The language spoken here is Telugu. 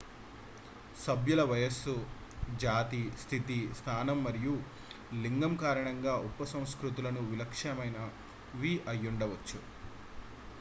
సభ్యుల వయస్సు జాతి స్థితి స్థానం మరియు / లేదా లింగం కారణంగా ఉపసంస్కృతులు విలక్షణమైనవి అయ్యుండచ్చు